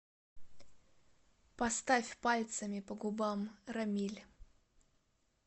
поставь пальцами по губам рамиль